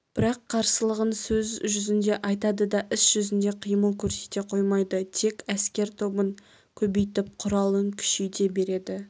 бірақ қарсылығын сөз жүзінде айтады да іс жүзінде қимыл көрсете қоймайды тек әскер тобын көбейтіп құралын күшейте береді